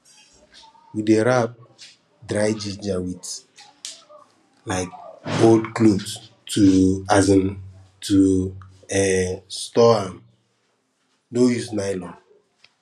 we dey wrap dry ginger with um old cloth to um to um store am no use nylon